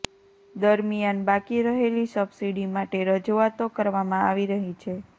દરમિયાન બાકી રહેલી સબસીડી માટે રજૂઆતો કરવામાં આવી રહી છે